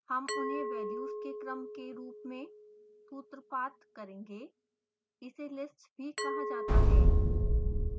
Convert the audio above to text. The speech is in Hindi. हम उन्हें वेल्यूज के क्रम के रूप में सूत्रपात करेंगे इसे list भी कहा जाता है